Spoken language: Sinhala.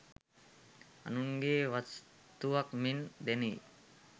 අනුන්ගේ වස්තුවක් මෙන් දැනෙයි